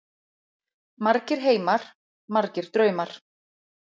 Margir heimar, margir draumar.